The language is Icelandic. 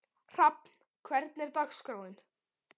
Hrafn, hvernig er dagskráin í dag?